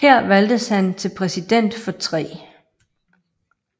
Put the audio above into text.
Her valgtes han til Præsident for 3